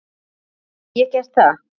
Get ég gert það?